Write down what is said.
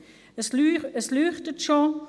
Das Lämpchen des Mikrofons leuchtet schon.